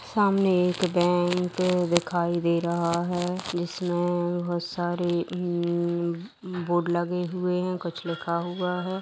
सामने एक बैंक दिखाई दे रहा है जिसमे बहुत सारे इ इ बोर्ड लगे हुए है कुछ लिखा हुआ है ।